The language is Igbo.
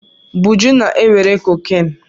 Buju na-ewere cocaine.